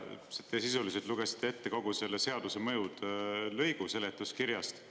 Te sisuliselt lugesite ette kogu selle seaduse mõjude lõigu seletuskirjast.